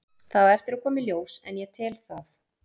Það á eftir að koma í ljós en ég tel það.